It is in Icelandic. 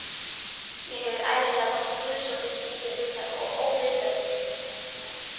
Mér hefur ævinlega þótt guðsótti skrýtið hugtak og óviðfelldið.